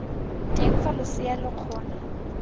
teng fa losea lo kgona